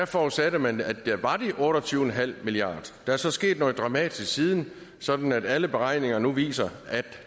forudsatte man at der var de otte og tyve milliard der er så sket noget dramatisk siden sådan at alle beregninger nu viser at